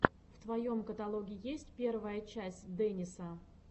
в твоем каталоге есть первая часть дэниса